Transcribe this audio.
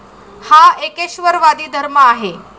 हा एकेश्वरवादी धर्म आहे.